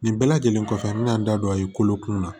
Nin bɛɛ lajɛlen kɔfɛ an mɛna n da don a ye kolo kunna